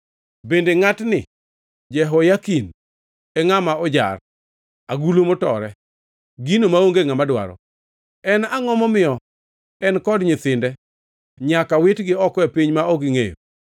Bende ngʼatni Jehoyakin en ngʼama ojar, agulu motore, gino maonge ngʼama dwaro? En angʼo momiyo en kod nyithinde nyaka witgi oko e piny ma ok gingʼeyo?